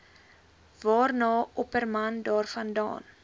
waarna opperman daarvandaan